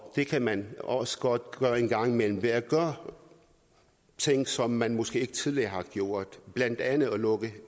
det kan man også godt gøre en gang imellem ved at gøre ting som man måske tidligere ikke har gjort blandt andet at lukke